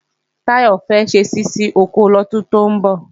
Táyọ̀ fẹ́ ṣe ṣíṣí oko lọ́dún tó ń bọ̀